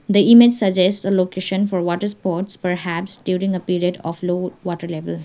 the image suggest a location for water sports perhaps during a period of low water level.